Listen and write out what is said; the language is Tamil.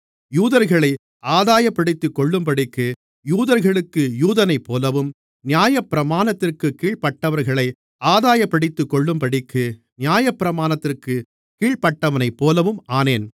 யூதர்களை ஆதாயப்படுத்திக்கொள்ளும்படிக்கு யூதர்களுக்கு யூதனைப்போலவும் நியாயப்பிரமாணத்திற்குக் கீழ்ப்பட்டவர்களை ஆதாயப்படுத்திக்கொள்ளும்படிக்கு நியாயப்பிரமாணத்திற்குக் கீழ்ப்பட்டவனைப்போலவும் ஆனேன்